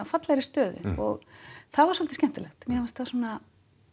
fallegri stöðu það var svolítið skemmtilegt mér fannst það svona